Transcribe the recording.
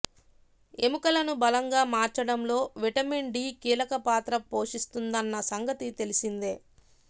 ఎముకలను బలంగా మార్చడంలో విటమిన్ డి కీలక పాత్ర పోషిస్తుందన్న సంగతి తెలిసిందే